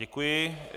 Děkuji.